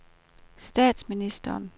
statsministeren